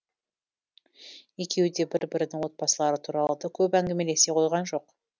екеуі бір бірінің отбасылары туралы да көп әңгімелесе қойған жоқ